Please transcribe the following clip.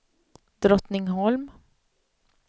Drottningholm